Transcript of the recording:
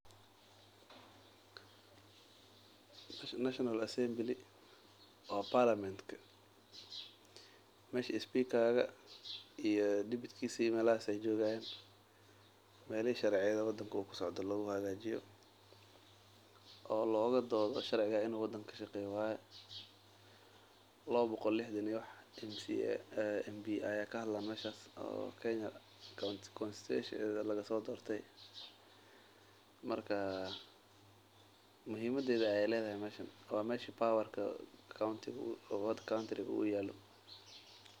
Meeshan waa barlamanka meelaha sharciga laga hagajiyo oo lagu doodo laba boqol oo qof ayaa joogan oo lasoo dorte muhimadeeda ayey ledahay waa meesha dalka laga xukimo.